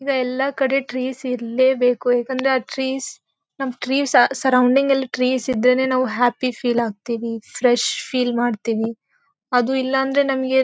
ಈವಾಗ ಎಲ್ಲಾ ಕಡೆ ಟ್ರೀಸ್ ಇರ್ಲೇ ಬೇಕು ಏಕೆಂದ್ರೆ ಆ ಟ್ರೀಸ್ ನಮ್ ಟ್ರೀಸ್ ಆ ಸರ್ರೌಂಡಿಂಗ್ ಅಲ್ಲಿ ಟ್ರೀಸ್ ಇದ್ರೇನೆ ನಾವು ಹ್ಯಾಪಿ ಫೀಲ್ ಆಗ್ತಿವಿ ಫ್ರೆಶ್ ಫೀಲ್ ಮಾಡ್ತಿವಿ. ಅದು ಇಲ್ಲ ಅಂದ್ರೆ ನಮಿಗೆ--